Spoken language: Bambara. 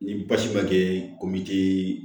Ni basi ma kɛ ko min tɛ